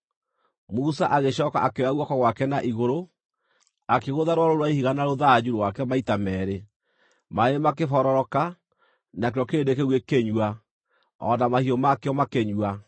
Musa agĩcooka akĩoya guoko gwake na igũrũ, akĩgũtha rwaro rũu rwa ihiga na rũthanju rwake maita meerĩ. Maaĩ makĩbororoka, nakĩo kĩrĩndĩ kĩu gĩkĩnyua, o na mahiũ makĩo makĩnyua.